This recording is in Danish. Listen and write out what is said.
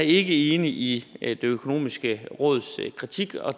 ikke enig i det økonomiske råds kritik og